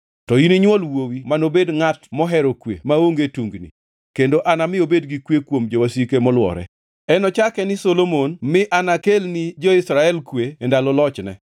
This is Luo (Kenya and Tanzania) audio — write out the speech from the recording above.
To ininywol wuowi manobed ngʼat mohero kwe maonge tungni, kendo anami obed gi kwe kuom jowasike molwore. Enochake ni Solomon, mi anakelni jo-Israel kwe e ndalo lochne.